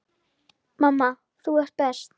Mamma, þú ert best.